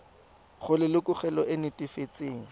go lelokolegolo e e netefatsang